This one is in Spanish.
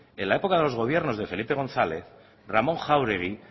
en la época de los gobiernos de felipe gonzález ramón jaúregui